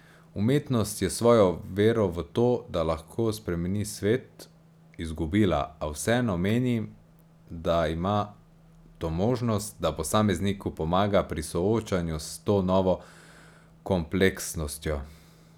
Umetnost je svojo vero v to, da lahko spremeni svet, izgubila, a vseeno menim, da ima to možnost, da posamezniku pomaga pri soočanju s to novo kompleksnostjo.